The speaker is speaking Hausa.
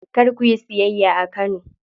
Kar kuyi siyayya a Kano.